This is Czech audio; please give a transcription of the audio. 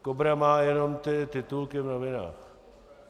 KOBRA má jenom ty titulky v novinách.